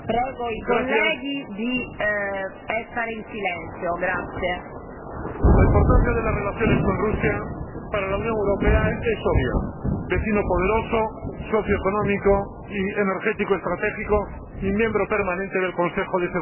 Señora Presidenta, la importancia de las relaciones con Rusia para la Unión Europea es obvia vecino poderoso, socio económico y energético estratégico, y miembro permanente del Consejo de Seguridad.